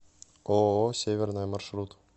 ооо северная маршрут